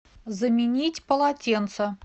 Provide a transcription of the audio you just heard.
заменить полотенца